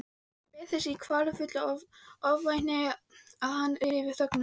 Ég beið þess í kvalafullu ofvæni að hann ryfi þögnina.